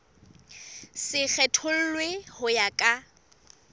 se kgethollwe ho ya ka